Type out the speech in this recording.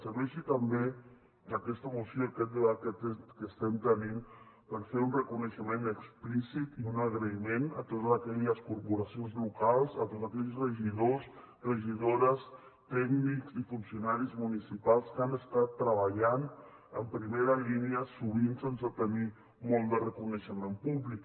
serveixi també aquesta moció aquest debat que estem tenint per fer un reconeixement explícit i un agraïment a totes aquelles corporacions locals a tots aquells regidors regidores tècnics i funcionaris municipals que han estat treballant en primera línia sovint sense tenir molt de reconeixement públic